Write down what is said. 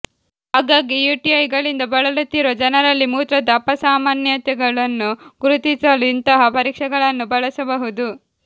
ಆಗಾಗ್ಗೆ ಯುಟಿಐಗಳಿಂದ ಬಳಲುತ್ತಿರುವ ಜನರಲ್ಲಿ ಮೂತ್ರದ ಅಪಸಾಮಾನ್ಯತೆಗಳನ್ನು ಗುರುತಿಸಲು ಇಂತಹ ಪರೀಕ್ಷೆಗಳನ್ನು ಬಳಸಬಹುದು